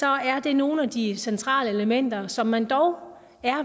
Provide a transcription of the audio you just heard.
er det nogle af de centrale elementer som man dog er